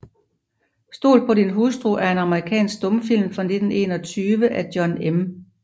Stol på din hustru er en amerikansk stumfilm fra 1921 af John M